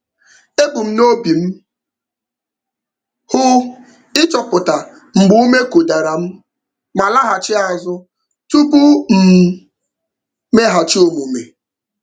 Ebu m n'obi m hụ ịchọpụta mgbe ume kụdara m ma laghachi azụ tupu m mmeghachi omume.